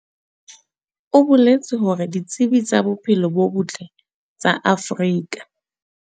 O boletse hore ditsi tsa bophelo bo botle tsa Afrika.